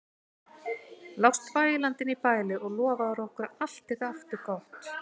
Lást vælandi inni í bæli og lofaðir okkur að allt yrði aftur gott.